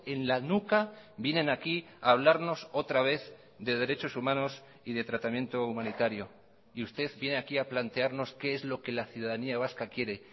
en la nuca vienen aquí a hablarnos otra vez de derechos humanos y de tratamiento humanitario y usted viene aquí ha plantearnos qué es lo que la ciudadanía vasca quiere